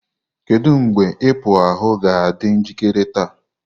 Kedu mgbe ipo ahu ga-adị njikere taa?